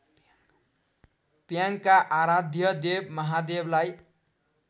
प्याङका आराध्यदेव महादेवलाई